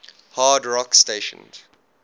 hard rock stations